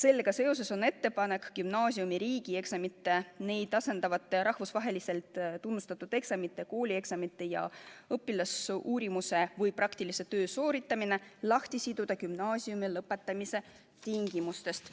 Nii ongi esitatud ettepanek gümnaasiumi riigieksamite, neid asendavate rahvusvaheliselt tunnustatud eksamite, koolieksamite ja õpilasuurimuse või praktilise töö sooritamine lahti siduda gümnaasiumi lõpetamise tingimustest.